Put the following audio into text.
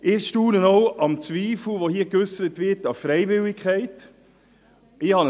Ich staune auch über den Zweifel, der hier an der Freiwilligkeit geäussert wird.